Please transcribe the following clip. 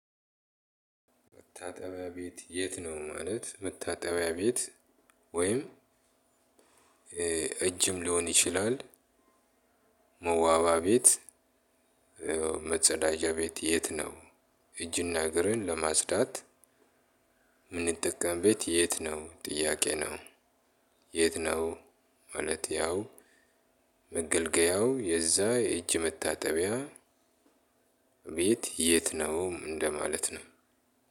መታጠቢያ ቤት የት ነው ማለት መታጠቢያ ቤት ወይም እጅም ሊሆን ይችላል። መዋባ ቤት መጸዳጃ ቤት የት ነው? እጅና እግርን ለማጽዳት የምንጠቀምበት የት ነው ጥያቄ ነው። የት ነው? ማለት ያው መገልገያው የዛ የእጅ መታጠቢያ ቤት የት ነው እንደማለት ነው።